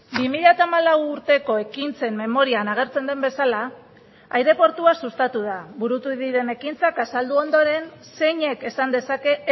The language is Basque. bi mila hamalau urteko ekintzen memorian agertzen den bezala aireportua sustatu da burutu diren ekintzak azaldu ondoren zeinek esan dezake